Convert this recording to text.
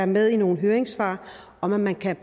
med i nogle høringssvar at man kan